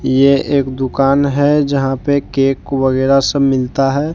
ये एक दुकान है जहां पे केक वगैरा सब मिलता है।